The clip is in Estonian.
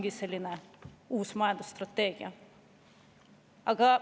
Võib-olla on see uus majandusstrateegia?